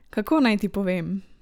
Kako naj ti povem?